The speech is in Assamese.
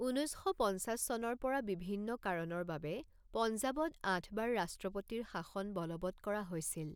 ঊনৈছ শ পঞ্চাছ চনৰ পৰা বিভিন্ন কাৰণৰ বাবে পঞ্জাবত আঠবাৰ ৰাষ্ট্ৰপতিৰ শাসন বলৱৎ কৰা হৈছিল।